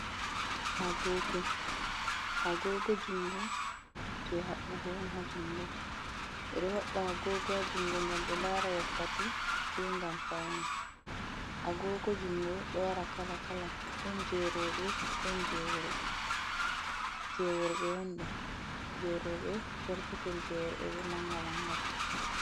Agogo, Agogo jungo je habbugo on hajungo ɓe ɗo haɓɓa agogo ha jungo ngam ɓe lara wakkati be ngam faune. agogo jungo ɗo wara kala kala ɗon jerobe ɗon jeworbe, jeworbe ondo jerobe perpetel, jeworɓe bo manga manga.